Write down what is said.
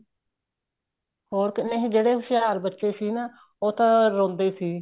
ਨਹੀਂ ਜਿਹੜੇ ਹੁਸ਼ਿਆਰ ਬੱਚੇ ਸੀ ਨਾ ਉਹ ਤਾਂ ਰੋਂਦੇ ਸੀ